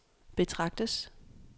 betragtes